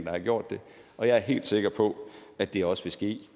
har gjort det og jeg er helt sikker på at det også vil ske